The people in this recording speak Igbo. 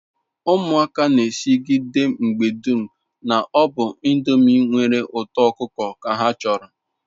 Umuaka m n'esigide mgbe dum na-obu ndomi nwere uto okuko ka ha choro